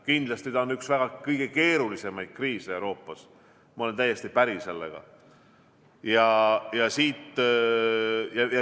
Kindlasti on see üks kõige keerulisemaid kriise Euroopas, ma olen sellega täiesti päri.